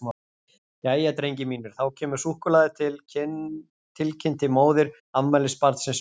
Jæja, drengir mínir, þá kemur súkkulaðið, til kynnti móðir afmælisbarnsins blíðlega.